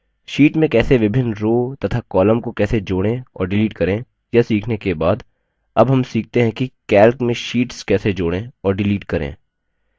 sheet में कैसे विभिन्न rows तथा columns को कैसे जोड़ें और डिलीट करें यह सीखने के बाद अब हम सीखते है कि calc में शीट्स कैसे जोड़ें और डिलीट करें